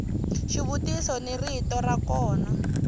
xivutiso ni rito ra kona